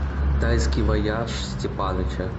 тайский вояж степаныча